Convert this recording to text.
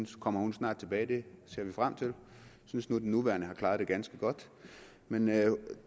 kommer hun snart tilbage det ser vi frem til jeg synes nu den nuværende har klaret det ganske godt men